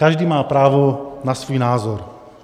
Každý má právo na svůj názor.